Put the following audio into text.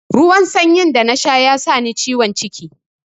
Ruwan sanyin da na sha ya sa ni ciwon ciki.